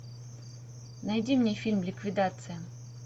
найди мне фильм ликвидация